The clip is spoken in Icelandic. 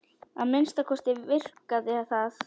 Að minnsta kosti virkaði það.